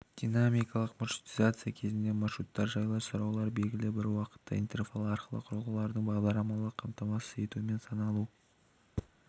дина-микалық маршрутизация кезінде маршруттар жайлы сұраулар белгілі бір уақыт интервалы арқылы құрылғылардың бағдарламалық қамтамасыз етуімен саналу